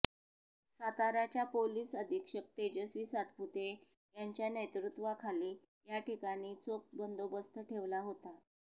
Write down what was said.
साताऱ्याच्या पोलिस अधीक्षक तेजस्वी सातपुते यांच्या नेतृत्वाखाली याठिकाणी चोख बंदोबस्त ठेवला होता